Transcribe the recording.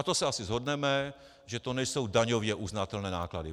A to se asi shodneme, že to nejsou daňově uznatelné náklady.